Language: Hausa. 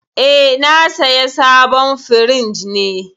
Eh, na saya sabon firinj ne.